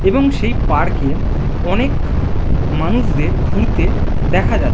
এবং সেই পার্ক এ অনেক মানুষদের ঘুরতে দেখা যা --